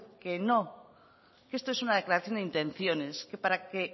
que no que esto es una declaración de intenciones que para que